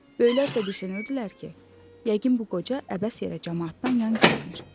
Böyüklərsə düşünürdülər ki, yəqin bu qoca əbəs yerə camaatdan yan gəzmir.